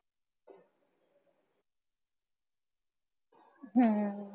ਹਾਂ